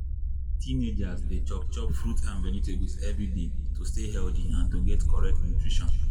teenagers dey chop chop fruits and vegetables every day to stay healthy and to get correct nutrition.